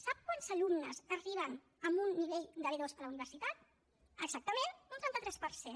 sap quants alumnes arriben amb un nivell de b2 a la universitat exactament un trenta tres per cent